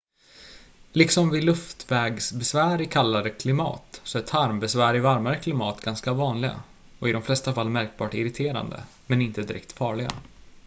liksom vid luftvägsbesvär i kallare klimat så är tarmbesvär i varmare klimat ganska vanliga och i de flesta fall märkbart irriterande men inte direkt farliga